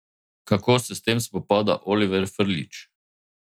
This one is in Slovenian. Kako se s tem spopada Oliver Frljić?